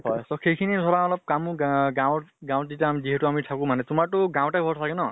হয়। সেই খিনি ধৰা অলপ কামো গা গাৱঁৰ গাৱঁত যেতিয়া যিহেতু আমি থাকো মানে। তোমাৰ টো গাঁৱতে ঘৰ চাগে ন?